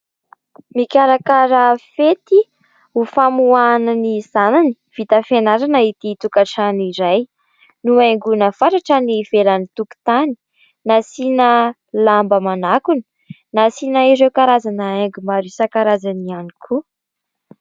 Mikarakara fety ho famoahana ny zanany vita fianarana ity tokantrano iray. Nohaingona fatratra ny ivelan'ny tokotany. Nasiana lamba manakona. Nasiana ireo karazana haingo maro isan-karazany ihany koa.